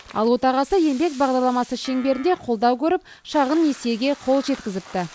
ал отағасы еңбек бағдарламасы шеңберінде қолдау көріп шағын несиеге қол жеткізіпті